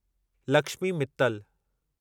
Lakshmi Mittal